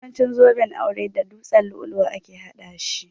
Yawancin zuben aure da dutsen lu'ulu'u ake haɗa shi